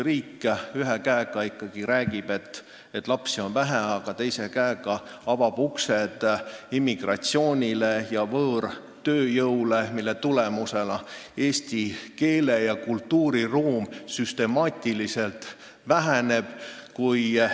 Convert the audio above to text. Riik ju ühelt poolt räägib, et lapsi on vähe, aga teise käega avab uksed immigratsioonile ja võõrtööjõule, mille tulemusena väheneb süstemaatiliselt eesti keele ja kultuuri ruum.